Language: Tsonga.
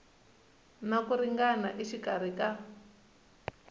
na ku ringana exikarhi ka